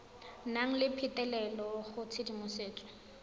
nang le phitlhelelo go tshedimosetso